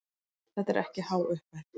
Þetta er ekki há upphæð.